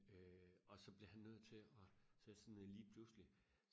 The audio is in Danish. øh og så blev han nødt til og sætte sig ned lige pludselig